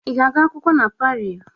Ị ga-agụ akwụkwọ na Parii?